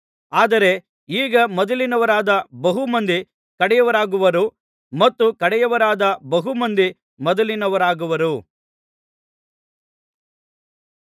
ಆದರೆ ಈಗ ಮೊದಲಿನವರಾದ ಬಹು ಮಂದಿ ಕಡೆಯವರಾಗುವರು ಮತ್ತು ಕಡೆಯವರಾದ ಬಹು ಮಂದಿ ಮೊದಲಿನವರಾಗುವರು